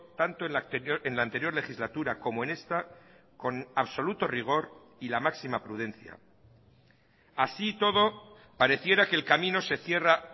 tanto en la anterior legislatura como en esta con absoluto rigor y la máxima prudencia así y todo pareciera que el camino se cierra